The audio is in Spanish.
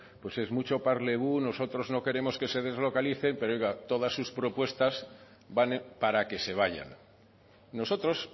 pues es mucho parlez vous nosotros no queremos que se deslocalicen pero oiga todas sus propuestas van para que se vayan nosotros